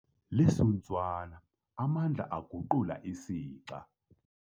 Lisuntswana amandla aguqula isixa.